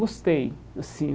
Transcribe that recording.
Gostei assim.